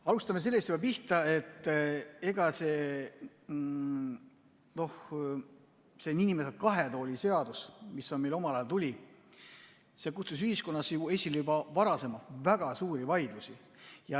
Alustame sellest, et see nn kahe tooli seadus, mis meile omal ajal tuli, kutsus ühiskonnas juba varasemalt esile väga suuri vaidlusi.